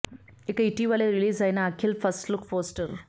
ఇక ఇటీవల రిలీజ్ అయిన అఖిల్ ఫస్ట్ లుక్ పోస్టర్